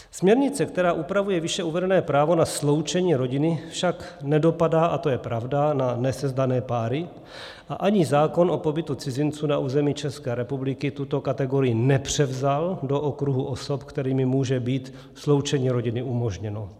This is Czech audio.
Směrnice, která upravuje výše uvedené právo na sloučení rodiny, však nedopadá, a to je pravda, na nesezdané páry a ani zákon o pobytu cizinců na území České republiky tuto kategorii nepřevzal do okruhu osob, kterým může být sloučení rodiny umožněno.